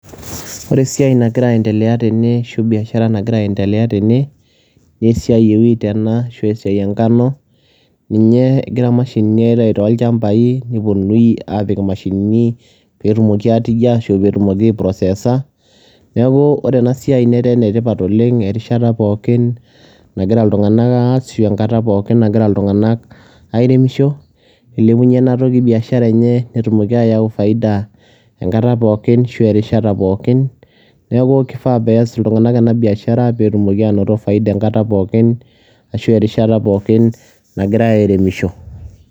Wore esiai nagira aendelea tene ashu biashara nagira aendelea tene naa esiai ee wheat ashu esiai enkano, ninye egira mashinini aitayu toolchampai neponunui apik mashinini peetumoki aatijia ashu peetumoki ai processor. Niaku wore enasiai netaa enetipat oleng erishata pookin nagira iltunganak aas ashu enkata pookin nagira iltunganak airemisho nilepunye inaa toki biashara enye netumoki ayau faida enkata pookin ashu erishata pookin. Niaku kifaa peyie aas iltunganak ena biashara peetumoki anoto faida enkata pookin ashu erishata pookin nagira airemisho.